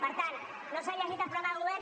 per tant no s’han llegit el programa de govern